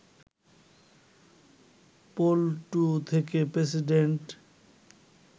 পল্টু থেকে প্রেসিডেন্ট